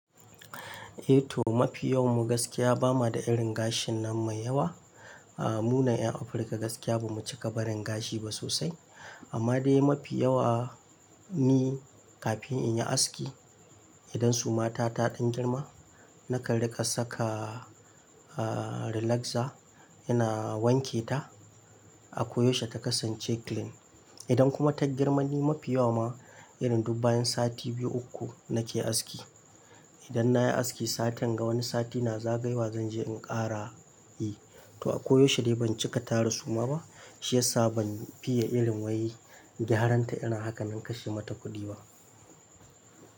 Eh to, mafi yawan mu gaskiya ba ma da irin gashin nan mai yawa. A'a mu na ƴan Afirka gaskiya ba mu cika barin gashi ba sosai. Amma dai mafi yawa ni kafin in yi aski, idan suma ta ta ɗan girma, nakan riƙa saka, ah, relaxer yana wanke ta, a koyaushe ta kasance clean. Idan kuma ta girma ni mafi yawa ma, irin duk bayan sati biyu uku nake aski. Idan nayi aski satin ga wani sati na zagayawa zanje in ƙara yi. To a koyaushe dai ban cika tara suma ba, shi yasa ban fiye irin wai gyaranta irin hakanan kashe mata kuɗi ba.